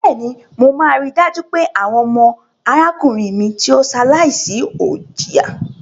Bẹ́ẹ̀ni, mo máa rí dájú pé àwọn ọmọ arákùnrin mi tí ó ṣaláìsí ò jìyà.